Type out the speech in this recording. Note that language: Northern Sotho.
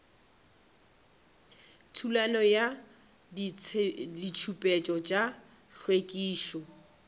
thulano ya ditshepetšo tša hlwekišo